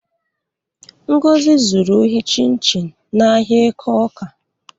Ngozi zuru ohi chịn chịn n'ahịa Eke Óká.